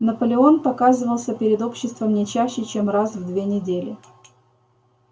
наполеон показывался перед обществом не чаще чем раз в две недели